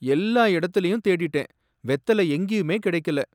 எல்லா இடத்துலயும் தேடிட்டேன், வெத்தலை எங்கயுமே கடைக்கல.